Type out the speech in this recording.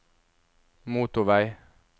motorvei